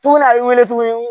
To ŋ'a wele tuguni